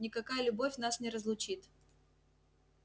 никакая любовь нас не разлучит